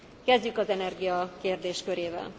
Kezdjük az energia kérdéskörével.